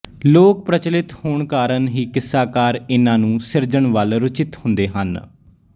ਲੋਕ ਪ੍ਰਚਲਿਤ ਹੋਣ ਕਾਰਣ ਹੀ ਕਿੱਸਾਕਾਰ ਇਨ੍ਹਾਂ ਨੂੰ ਸਿਰਜਣ ਵੱਲ ਰੁਚਿਤ ਹੁੰਦੇ ਹਨ